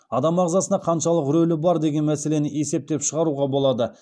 адам ағзасына қаншалық рөлі бар деген мәселені есептеп шығаруға болады